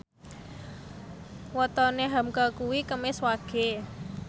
wetone hamka kuwi Kemis Wage